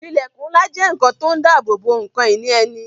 Ilẹkun ńlá jẹ́ ohun tó ń dabobo ǹkan ìní ẹni